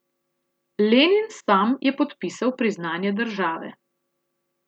Lenin sam je podpisal priznanje države.